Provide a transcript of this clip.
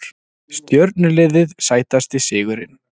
Stjörnuliðið Sætasti sigurinn?